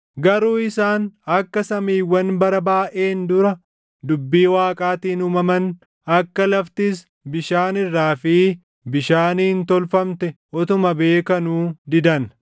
Garuu isaan akka samiiwwan bara baayʼeen dura dubbii Waaqaatiin uumaman, akka laftis bishaan irraa fi bishaaniin tolfamte utuma beekanuu didan.